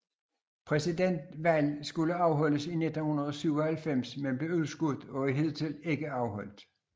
Præsidentvalg skulle afholdes i 1997 men blev udskudt og er hidtil ikke afholdt